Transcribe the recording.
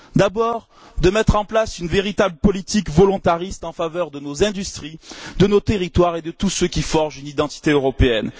D'abord, de mettre en place une véritable politique volontariste en faveur de nos industries, de nos territoires et de tout ce qui forge une identité européenne.